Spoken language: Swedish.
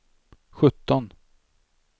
sjutton